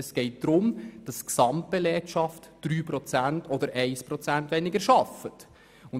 Es geht darum, dass die Gesamtbelegschaft 3 beziehungsweise 1 Prozent weniger arbeitet.